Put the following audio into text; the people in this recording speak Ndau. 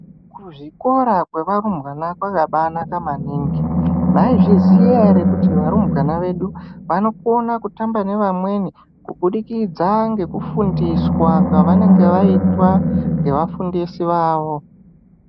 Kuzvikora kwevarumbwana kwakabaanaka maningi. "Maizviziya ere kuti varumbwana vedu vanokone kutamba nevamweni kubudikidza nekufundiswa kwavanenge vaitwa nevafundisi vavo?"